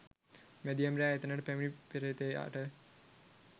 මැදියම් රෑ එතැනට පැමිණි පේ්‍රතයාට